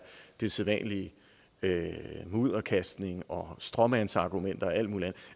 den sædvanlige mudderkastning og stråmandsargumenter og alt muligt